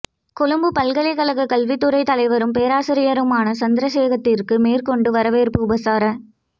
கொழும்புப்பல்கலைக் கழகத்தின் கல்வித்துறைத் தலைவரும் பேராசிரியருமான சந்திரசேகரத்திற்கு மேற்கொண்ட வரவேற்பு உபசார